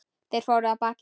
Þeir fóru af baki.